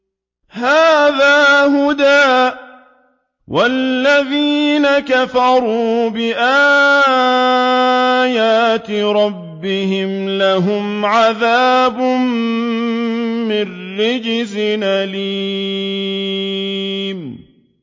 هَٰذَا هُدًى ۖ وَالَّذِينَ كَفَرُوا بِآيَاتِ رَبِّهِمْ لَهُمْ عَذَابٌ مِّن رِّجْزٍ أَلِيمٌ